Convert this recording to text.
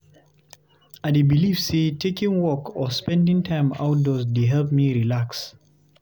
I dey believe say taking walk or spending time outdoors dey help me relax.